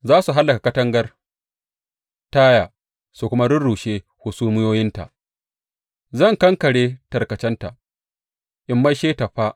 Za su hallaka katangar Taya su kuma rurrushe hasumiyoyinta; zan kankare tarkacenta, in maishe ta fā.